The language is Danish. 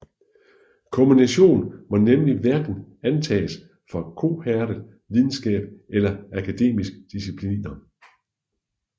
Kommunikation må nemlig hverken antages for kohærent videnskab eller akademiske discipliner